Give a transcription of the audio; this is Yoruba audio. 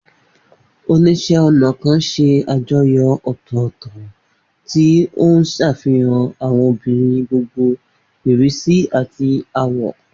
Oníṣẹ́-ọnà kan ṣe àjọyọ̀ ọ̀tọ̀ọ̀tọ̀, tí ó ń ṣàfihàn àwọn obìnrin gbogbo ìrísí àti àwọ̀.